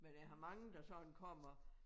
Men jeg har mange der sådan kommer